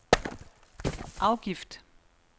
afgift